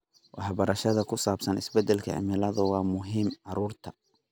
Waxbarashada ku saabsan isbeddelka cimilada waa muhiim carruurta.